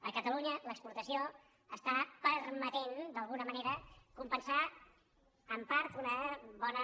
a catalunya l’exportació està permetent d’alguna manera compen·sar en part una bona